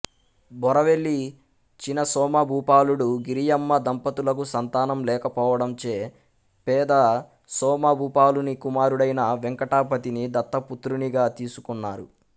బోరవెల్లి చిన సోమభూపాలుడు గిరియమ్మ దంపతులకు సంతానం లేకపోవడంచే పెద సోమభూపాలుని కుమారుడైన వేంకటపతిని దత్త పుత్రునిగా తీసుకున్నారు